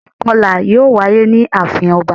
Ìkọlà yíò wáyé ní àafin ọba